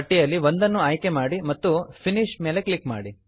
ಪಟ್ಟಿಯಲ್ಲಿ ಒಂದನ್ನು ಆಯ್ಕೆ ಮಾಡಿ ಮತ್ತು ಫಿನಿಶ್ ಫಿನಿಶ್ ಮೇಲೆ ಕ್ಲಿಕ್ ಮಾಡಿ